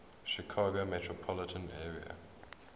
chicago metropolitan area